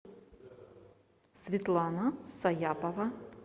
светлана саяпова